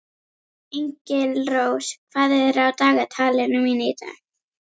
Engilrós, hvað er á dagatalinu mínu í dag?